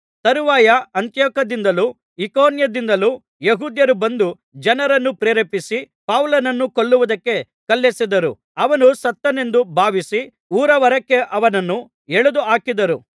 ತರುವಾಯ ಅಂತಿಯೋಕ್ಯದಿಂದಲೂ ಇಕೋನ್ಯದಿಂದಲೂ ಯೆಹೂದ್ಯರು ಬಂದು ಜನರನ್ನು ಪ್ರೇರೇಪಿಸಿ ಪೌಲನನ್ನು ಕೊಲ್ಲುವುದಕ್ಕೆ ಕಲ್ಲೆಸೆದರು ಅವನು ಸತ್ತನೆಂದು ಭಾವಿಸಿ ಊರಹೊರಕ್ಕೆ ಅವನನ್ನು ಎಳೆದುಹಾಕಿದರು